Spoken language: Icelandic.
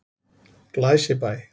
Glæsibæ